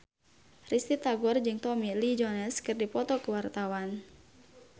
Risty Tagor jeung Tommy Lee Jones keur dipoto ku wartawan